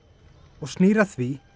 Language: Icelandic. og snýr að því